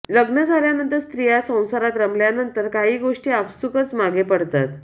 लग्न झाल्यानंतर स्त्रिया संसारात रमल्यानंतर काही गोष्टी आपसुकच मागे पडतात